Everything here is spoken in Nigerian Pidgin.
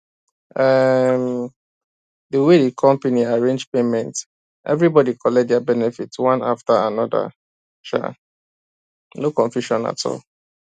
um the way the company arrange payment everybody collect their benefit one after another um no confusion at all